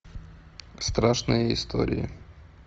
страшные истории